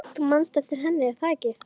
Þú manst eftir henni, er það ekki?